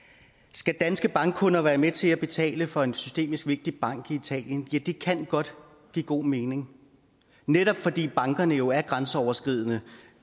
skal danske bankkunder være med til at betale for en systemisk vigtig bank i italien ja det kan godt give god mening netop fordi bankerne jo er grænseoverskridende